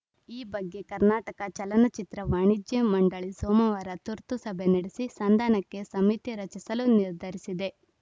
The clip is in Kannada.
ಈ ಬಗ್ಗೆ ಕರ್ನಾಟಕ ಚಲನಚಿತ್ರ ವಾಣಿಜ್ಯ ಮಂಡಳಿ ಸೋಮವಾರ ತುರ್ತು ಸಭೆ ನಡೆಸಿ ಸಂಧಾನಕ್ಕೆ ಸಮಿತಿ ರಚಿಸಲು ನಿರ್ಧರಿಸಿದೆ